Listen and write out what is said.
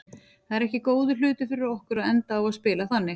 Það er ekki góður hlutur fyrir okkur að enda á að spila þannig.